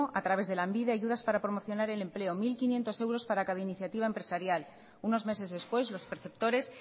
a través de lanbide ayudas para promocionar el empleo mil quinientos euros para cada iniciativa empresarial unos meses después los perceptores